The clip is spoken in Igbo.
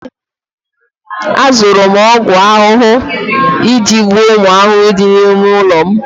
ee, azụrụ m ọgwụ ahụhụ iji gbuo ụmụ ahụhụ dị n'ime ụlọ m